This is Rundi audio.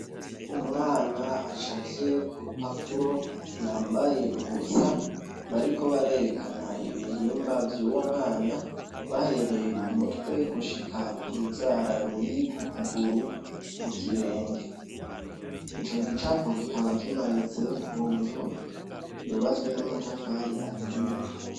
Umwana acafye kurupapuro yambaye ubusa bariko barerekana ibihimba vyuwo mwana bahereye kumutwe gushika kunzara ruri kukuguru kukirenge icogicapo kikaba kimanitse kunzu yubatswe namatafari aturiye.